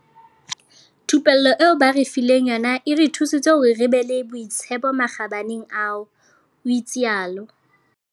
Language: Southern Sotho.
Thupello eo ba re fileng yona e re thusitse hore re be le boitshepo makgabaneng ao," o itsalo.